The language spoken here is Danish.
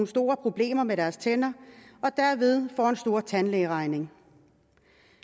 store problemer med deres tænder og derved får en stor tandlægeregning